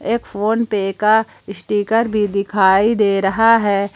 एक फोनपे का स्टीकर भी दिखाई दे रहा है।